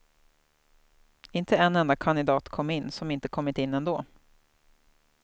Inte en enda kandidat kom in som inte kommit in ändå.